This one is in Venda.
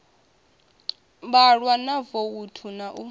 vhalwa ha voutu na u